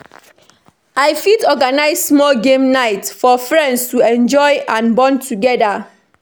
I fit organize small game night for friends to enjoy and bond together.